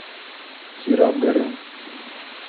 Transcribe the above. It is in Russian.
кира абгарян